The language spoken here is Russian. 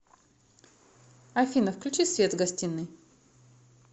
афина включи свет в гостиной